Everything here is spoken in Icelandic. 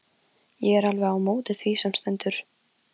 Ég er alveg á móti því sem stendur.